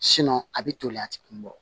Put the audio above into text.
a bɛ toli a ti kun bɔ